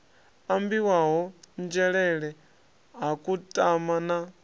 ambiwaho nzhelele ha kutama na